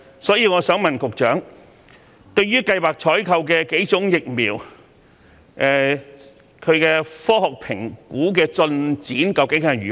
所以，我想問局長，對於計劃採購的數款疫苗，它們的科學評估進展究竟如何？